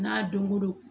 N'a donko don